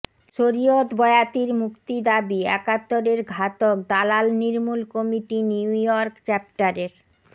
শরীয়ত বয়াতীর মুক্তি দাবী একাত্তরের ঘাতক দালাল নির্মূল কমিটি নিউ ইর্য়ক চ্যাপ্টারের